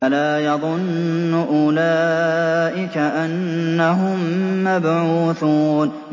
أَلَا يَظُنُّ أُولَٰئِكَ أَنَّهُم مَّبْعُوثُونَ